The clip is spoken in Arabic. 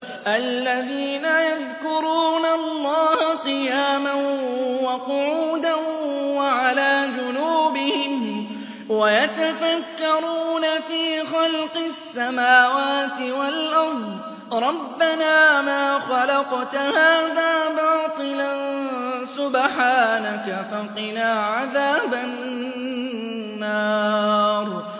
الَّذِينَ يَذْكُرُونَ اللَّهَ قِيَامًا وَقُعُودًا وَعَلَىٰ جُنُوبِهِمْ وَيَتَفَكَّرُونَ فِي خَلْقِ السَّمَاوَاتِ وَالْأَرْضِ رَبَّنَا مَا خَلَقْتَ هَٰذَا بَاطِلًا سُبْحَانَكَ فَقِنَا عَذَابَ النَّارِ